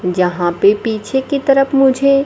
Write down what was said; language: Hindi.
जहां पे पीछे की तरफ मुझे--